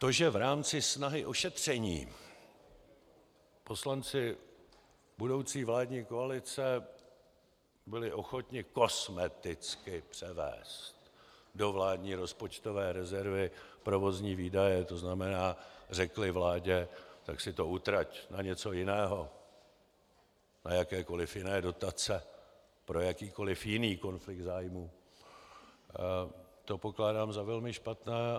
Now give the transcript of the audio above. To, že v rámci snahy o šetření poslanci budoucí vládní koalice byli ochotni kosmeticky převést do vládní rozpočtové rezervy provozní výdaje, to znamená, řekli vládě "tak si to utrať na něco jiného, na jakékoliv jiné dotace, pro jakýkoliv jiný konflikt zájmů", to pokládám za velmi špatné.